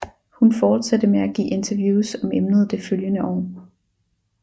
Hun fortsatte med at give interviews om emnet det følgende år